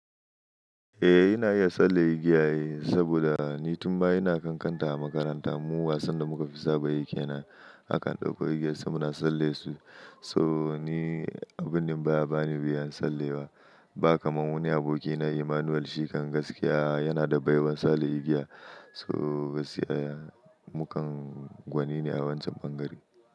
Eh ina iya tsalle igiya eh, saboda ni tun ba'a yana kankanta a makaranta mu wasan da muka fi saba yi kenan akan ɗauko igiya sai muna tsalle su. So ni abun nan baya bani wuyan tsalle ba. Ba kamar wani aboki na Emmanuel shi kan gaskiya yana da baiwar tsalle igiya. So gaskiya ya mukan gwani ne a wancan ɓangaren.